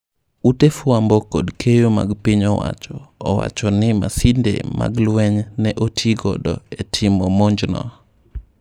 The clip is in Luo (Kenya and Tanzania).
Ute fwambo kod keyo mag piny owacho owachoni masinde mag lweny ne otii godo e timo monj no.